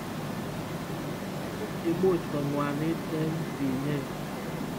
Imuch kongwanit eng tinyet.